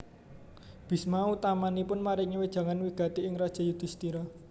Bisma utaminipun maringi wejangan wigati ing Raja Yudisthira